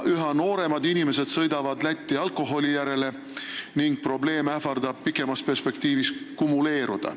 Üha nooremad inimesed sõidavad Lätti alkoholi järele ja pikemas perspektiivis ähvardab probleem kumuleeruda.